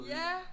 Ja!